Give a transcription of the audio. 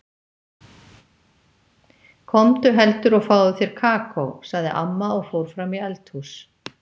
Komdu heldur og fáðu þér kakó, sagði amma og fór fram í eldhús.